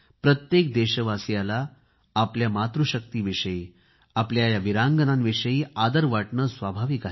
प्रत्येक देशवासियाला आपल्या या मातृशक्ती विषयी आपल्या या वीरांगनांविषयी आदर वाटणे स्वाभाविक आहे